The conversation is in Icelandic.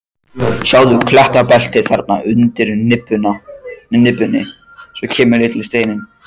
Sjáðu klettabeltið þarna undir nibbunni, svo kemur lítill steinn.